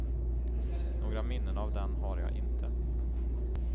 Några minnen av den har jag inte.